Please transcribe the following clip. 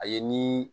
A ye ni